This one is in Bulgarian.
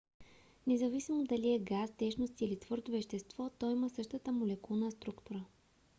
независимо дали е газ течност или твърдо вещество то има същата молекулна структура